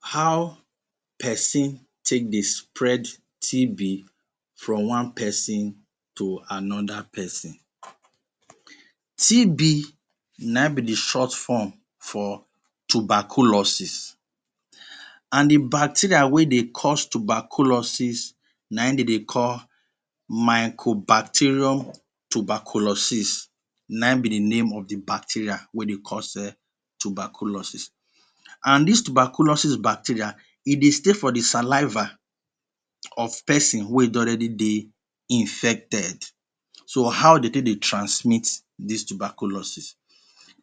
How person take dey spread TB from one person to another person? TB na in be the short form for tuberculosis and the bacteria wey dey cause tuberculosis na in them they call mycobacterium tuberculosis na in be name of the bacteria wey dey cause tuberculosis and this tuberculosis bacteria e dey dey for the saliva of the person wey don already dey infected. So how them take they transmit this tuberculosis?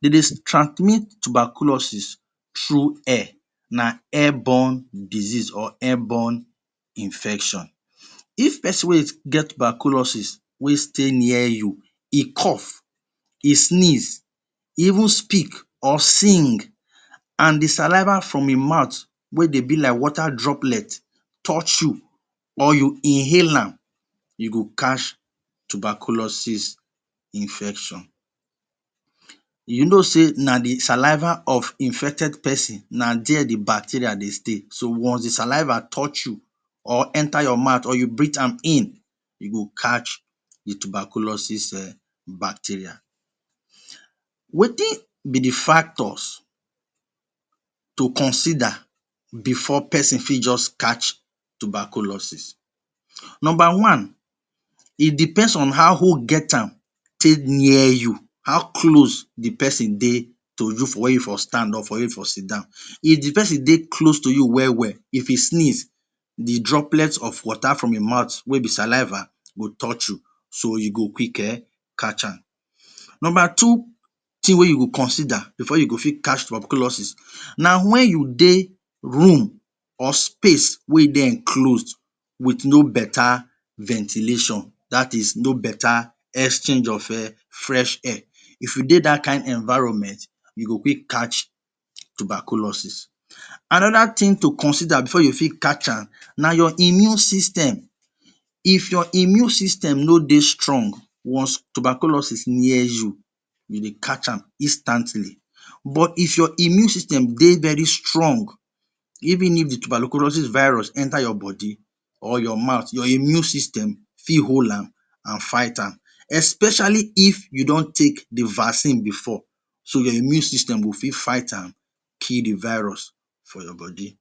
De dey transmit tuberculosis through air, air born disease or air born infection. If person wey get tuberculosis stay near you, e cough, e sneeze, e ven speak or sing and the saliva from im mouth wey dey be like water droplet touch you or you inhale am you go catch tuberculosis infection. You know sey na the saliva of infected person na their the bacteria dey stay. So once the saliva touch you or e enter your mouth or you breath am in you go catch the tuberculosis bacteria. Wetin be the factors to consider before person fit just catch tuberlosis? Number one: e depend on how who get am take dey near you how close the person dey near you how close the person dey for where you stand up where you sit down, if the person dey close to you well-well if e sneeze the droplet of water from im mouth wey be saliva go touch you so you go quick catch am. Number two thing wey you go consider before you go fit catch tubecurlosis na when you dey room or space wey close with no ventilation no better exchange of fresh air. If you dey that kind of environment you go fit catch tuberculosis. Another thing to onsider before you go fit catch am na your immune system, if your immune system no dey strong one tuberculosis near you e dey catch am instantly but if your immune system dey very strong even if the tuberculosis virus dey for your body or your mouth, your immune system fit hold am enter your body especially if you don take the vaccine before the immune system go fit fight am kill the virus for your body.